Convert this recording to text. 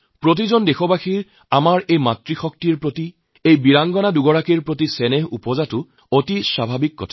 প্ৰত্যেক দেশবাসীৰে আমাৰ এই নাৰীশক্তিৰ ওপৰত আমাৰ এই বীৰাংগনাসকলৰ প্ৰতি সন্মান দেখুওৱাটো অতি স্বাভাবিক